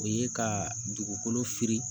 O ye ka dugukolo fili